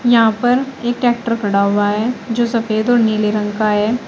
यहां पर एक ट्रैक्टर खड़ा हुआ है जो सफेद और नीले रंग का है।